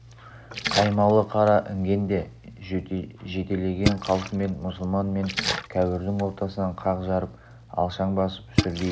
қаймалы қара інгенді жетелеген қалпымен мұсылман мен кәуірдің ортасынан қақ жарып алшаң басып жүрді дейді